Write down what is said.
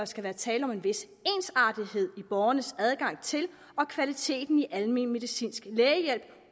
skal være tale om en vis ensartethed i borgernes adgang til og kvaliteten i almen medicinsk lægehjælp